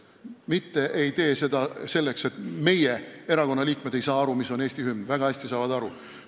Me ei tee seda selleks, et meie erakonna liikmed ei saa aru, mis on Eesti hümn – väga hästi saavad aru.